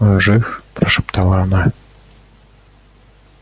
он жив прошептала она